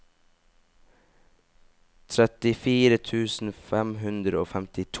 trettifire tusen fem hundre og femtito